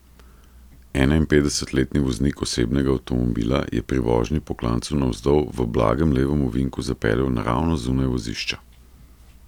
Enainpetdesetletni voznik osebnega avtomobila je pri vožnji po klancu navzdol v blagem levem ovinku zapeljal naravnost zunaj vozišča.